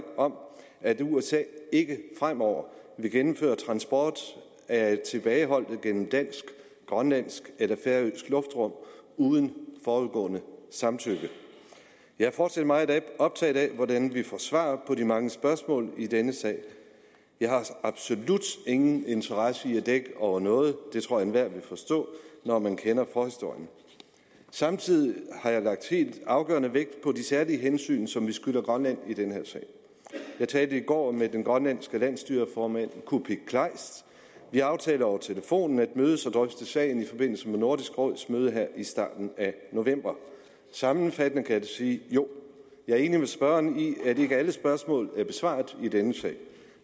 om at usa ikke fremover vil gennemføre transport af tilbageholdte gennem dansk grønlandsk eller færøsk luftrum uden forudgående samtykke jeg er fortsat meget optaget af hvordan vi får svar på de mange spørgsmål i denne sag jeg har absolut ingen interesse i at dække over noget det tror jeg enhver vil forstå når man kender forhistorien samtidig har jeg lagt helt afgørende vægt på de særlige hensyn som vi skylder grønland i den her sag jeg talte i går med den grønlandske landsstyreformand kuupik kleist vi aftalte over telefonen at mødes og drøfte sagen i forbindelse med nordisk råds møde her i starten af november sammenfattende kan jeg sige jo jeg er enig med spørgeren i at ikke alle spørgsmål er besvaret i denne sag